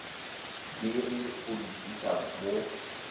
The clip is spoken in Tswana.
deri go di tlisa mo